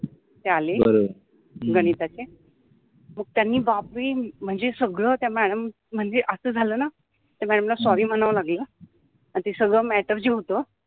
ते आले गणिताचे त्यानि बापरे मनजे सगळ त्या मॅडम मनजे अस झाल न त्या मॅडम ला सॉरि म्हणाव लागल सगळ मॅटर जे होत